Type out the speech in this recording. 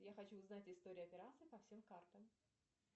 я хочу узнать историю операций по всем картам